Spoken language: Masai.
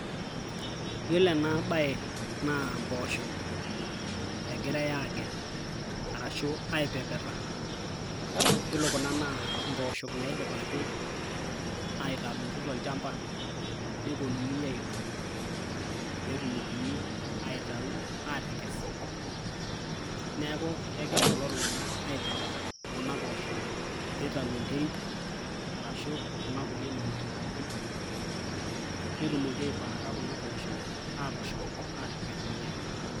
iyiolo ena bae naa impoosho egirae aagel ashu aipepeta. iyiolo kuna naa impoosho naidipaki atadotu tolchampa pee nepuonunui aidong' pee etumokini atau atekes, neeku kegira kulo tungana aipepeta kuna poosho, pee itau enterit, ashu kuna kulie mauti pookin. netumoki aipaaka kuna poosho aatushum aatipik irkuniyiani.